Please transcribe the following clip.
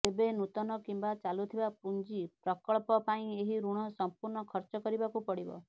ତେବେ ନୂତନ କିମ୍ବା ଚାଲୁଥିବା ପୁଞ୍ଜି ପ୍ରକଳ୍ପ ପାଇଁ ଏହି ଋଣ ସଂପୂର୍ଣ୍ଣ ଖର୍ଚ୍ଚ କରିବାକୁ ପଡିବ